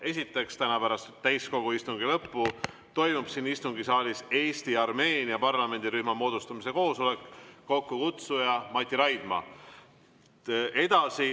Esiteks, täna pärast täiskogu istungi lõppu toimub siin istungisaalis Eesti-Armeenia parlamendirühma moodustamise koosolek, kokkukutsuja on Mati Raidma.